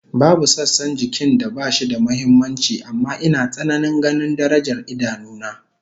Babu sassan jikin da bashi da muhimmanci amma ina tsananin ganin darajar idanu na